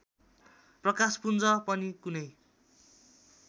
प्रकाशपुञ्ज पनि कुनै